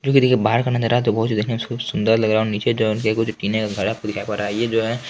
जो ग्रीन बाहर बहुत ही सुदर लग रहा है जो नीचे जो कुछ पीने का घड़ा है। ये जो है--